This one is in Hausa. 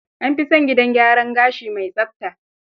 An fi son gidan gyaran gashi mai tsafta.